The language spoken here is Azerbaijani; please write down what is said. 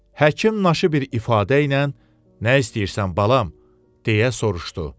Həkim naşı bir ifadə ilə, nə istəyirsən balam, deyə soruşdu.